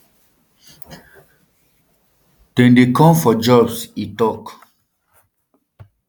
dem dey come for jobs e tok